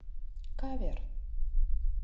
кавер